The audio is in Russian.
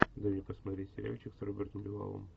дай мне посмотреть сериальчик с робертом дюваллом